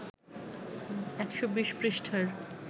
১২০ পৃষ্ঠার